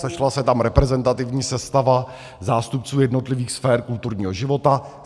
Sešla se tam reprezentativní sestava zástupců jednotlivých sfér kulturního života.